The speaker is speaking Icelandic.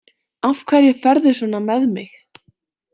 Af hverju ferðu svona með mig?